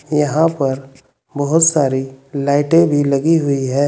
यहां पर बहोत सारी लाईटें भी लगी हुई है।